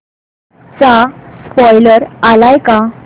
चा स्पोईलर आलाय का